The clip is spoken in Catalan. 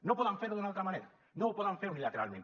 no poden fer ho d’una altra manera no ho poden fer unilateralment